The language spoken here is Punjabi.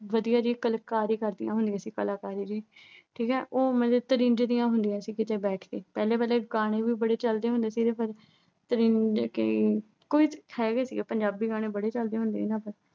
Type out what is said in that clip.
ਵਧੀਆ ਜੀ ਕਲਾਕਰੀ ਕਰਦੀਆਂ ਹੁੰਦੀਆਂ ਸੀ ਕਲਾਕਾਰੀ ਵੀ। ਉਹ ਉਵੇਂ ਜੇ ਤ੍ਰਿਜ ਦੀਆਂ ਹੁੰਦੀਆਂ ਸੀ ਕਿਤੇ ਬੈਠ ਕੇ। ਪਹਿਲੇ ਪਹਿਲੇ ਗਾਣੇ ਵੀ ਬੜੇ ਚਲਦੇ ਹੁੰਦੇ ਸੀਗੇ। ਜਿਵੇਂ ਤ੍ਰਿੰਜ ਕੇ, ਕੁਝ ਹੈਗੇ ਸੀਗੇ, ਪੰਜਾਬੀ ਗਾਣੇ ਬੜੇ ਚਲਦੇ ਹੁੰਦੇ ਸੀਗੇ।